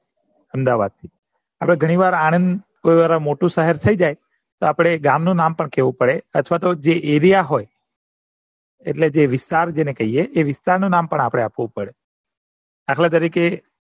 અમદાવાદથી આપણે ગણી વાર આણંદ મોટું શહર થઇ જાય તો ગામ નું નામ પણ કેવું પડે અથવા તો જે એરિયા હોય એટલે કે જે વિસ્તાર જેને કહીએ એ વિસ્તાર નું મન પણ આપવું પડે આપડે દાખલા તરીકે